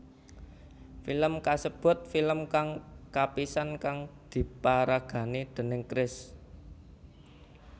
Film kasebut film kang kapisan kang diparagani déning Chris